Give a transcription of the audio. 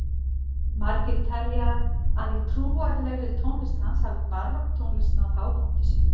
Margir telja að í trúarlegri tónlist hans hafi barokktónlist náð hápunkti sínum.